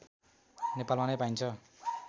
नेपालमा नै पाइन्छ